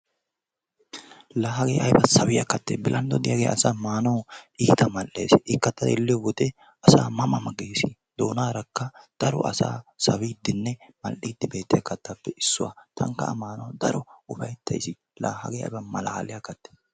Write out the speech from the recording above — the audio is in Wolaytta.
La hagee aybaa sawiyaa kattee bilanddoy diyaagee asaa maanawu iitta madhdhees. ikka xeelliyoo wode asaa ma ma gees. Doonarakka daro asaa sawidinne mal"idi beetiyaa kaattappe issuwaa. Tankka a maanawu daroppe upayttays. la hagee ayba malaliyaa kattee!